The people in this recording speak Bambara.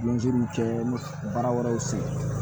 kɛ baara wɛrɛw sigi